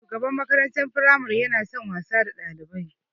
Shugaban makarantar firamare yana son wasa da Ɗalibai.